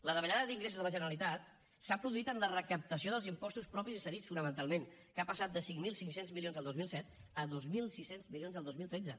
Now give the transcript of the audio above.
la davallada d’ingressos de la generalitat s’ha produït en la recaptació dels impostos propis i cedits fonamentalment que ha passat de cinc mil cinc cents milions el dos mil set a dos mil sis cents milions el dos mil tretze